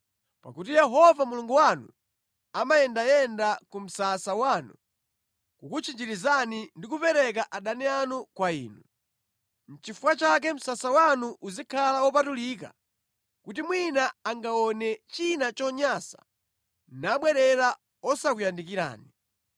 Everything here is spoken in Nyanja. Pakuti Yehova Mulungu wanu amayendayenda ku msasa wanu kukutchinjirizani ndi kupereka adani anu kwa inu. Nʼchifukwa chake msasa wanu uzikhala wopatulika kuti mwina angaone china chonyansa nabwerera osakuyandikirani.